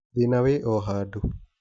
Thĩna wĩ o handũ.